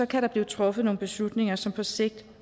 kan der blive truffet nogle beslutninger som på sigt